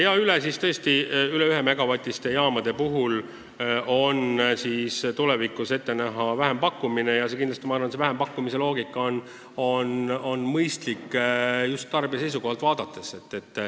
Aga üle 1-megavatiste jaamade puhul on tulevikus ette näha vähempakkumine ja see vähempakkumise loogika on minu arvates mõistlik just tarbija seisukohalt vaadates.